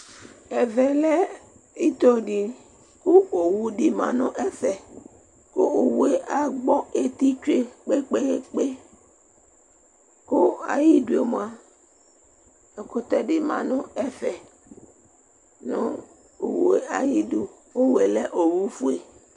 ɛvɛ lɛ ito di ku ewo lɛ nu ɛfɛ, ku owue agbɔ eti tsʋe kpekpekpe , ku ayidue mʋa, ɛkutɛ di ma nu ɛfɛ, nu owue ayidu owue lɛ owu fue